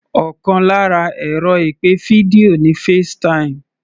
Ọkàn lára ẹ̀rọ ìpè fídíò ni FaceTime